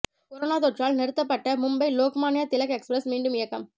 corona தொற்றால் நிறுத்தப்பட்ட Mumbai Lokmanya Tilak express மீண்டும் இயக்கம்